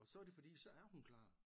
Og så er det fordi så er hun klar